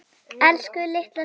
Elsku litla systa mín.